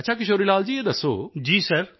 ਅੱਛਾ ਕਿਸ਼ੋਰੀ ਲਾਲ ਜੀ ਇਹ ਦੱਸੋ